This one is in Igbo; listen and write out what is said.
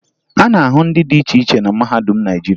A na-ahụ ndị dị iche iche na mahadum Naịjirịa